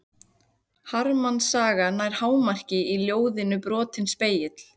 Harmsagan nær hámarki í ljóðinu Brotinn spegill.